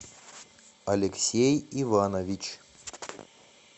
алексей иванович